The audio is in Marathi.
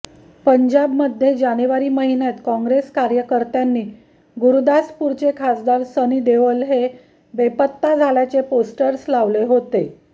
पंजाबमध्ये जानेवारी महिन्यात काँग्रेस कार्यकर्त्यांनी गुरुदासपूरचे खासदार सनी देओल हे बेपत्ता झाल्याचे पोस्टर्स लावले होते